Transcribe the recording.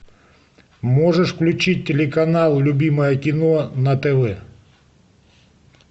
можешь включить телеканал любимое кино на тв